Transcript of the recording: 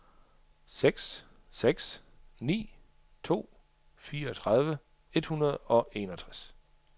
seks seks ni to fireogtredive et hundrede og enogtres